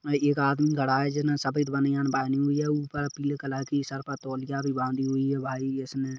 एक आदमी खड़ा है जिसमें सफेद बनियान पहनी हुई है और ऊपर पीले कलर की सर पर टोलिया भी बांधी हुई है भाई इसने--